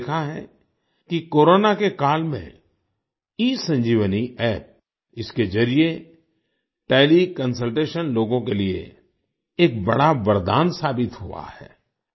हमने देखा है कि कोरोना के काल में ईसंजीवनी App इसके जरिए टेलीकंसल्टेशन लोगों के लिए एक बड़ा वरदान साबित हुआ है